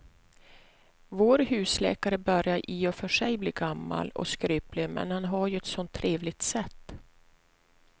Vår husläkare börjar i och för sig bli gammal och skröplig, men han har ju ett sådant trevligt sätt!